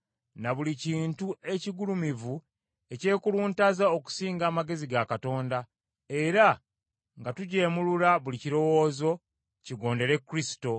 na buli kintu ekigulumivu ekyekuluntaza okusinga amagezi ga Katonda, era nga tujeemulula buli kirowoozo, kigondere Kristo,